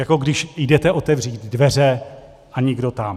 Jako když jdete otevřít dveře a nikdo tam.